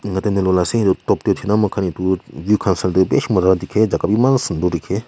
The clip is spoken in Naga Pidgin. mate nola ase etu top tu thena makhan etu view khan san teh bishi namu ahise takhan imaan sundor dikhe.